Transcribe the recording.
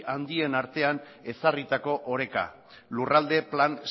handien artean ezarritako oreka lurralde plan